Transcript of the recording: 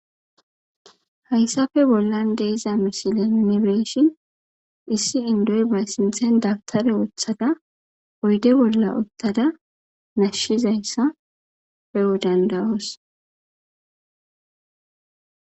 Haysape bolan di'za missilen nuni be'ishen isi indoy ba sinten dawutara wotada oyde bola utada nashizaysa be'o danda'os.